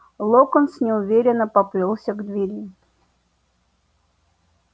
локонс неуверенно поплёлся к двери